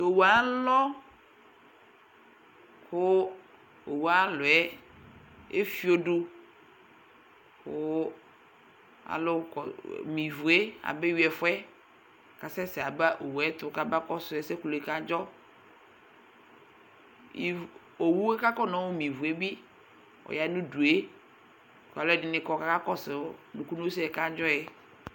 owʋ alɔ kʋ owʋalɔɛ eƒiodu Kʋ alʋme ivʋe abehui ɛfʋɛ kasɛsɛ aba owʋetʋ kama kɔdsu ɛsɛ kadzɔ iv owʋe kakɔnaeme ivʋebi ɔyanʋdue kalʋɛdini kɔ kakakɔsʋ nukunu sɛ kadzɔɛ